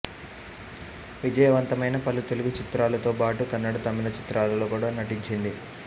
విజయవంతమైన పలు తెలుగు చిత్రాలతో బాటు కన్నడ తమిళ చిత్రాలలో కూడా నటించింది